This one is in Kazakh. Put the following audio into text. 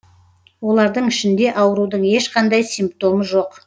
олардың ішінде аурудың ешқандай симптомы жоқ